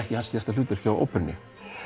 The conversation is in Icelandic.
ekki hans síðasta hlutverk hjá óperunni